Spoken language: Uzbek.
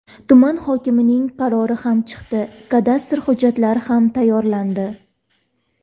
Tuman hokimining qarori ham chiqdi, kadastr hujjatlari ham tayyorlandi.